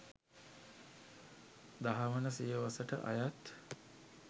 දහවන සියවසට අයත්